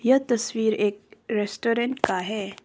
यह तस्वीर एक रेस्टोरेंट का है।